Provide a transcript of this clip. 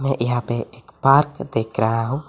यहां पे एक पार्क देख रहा हूं।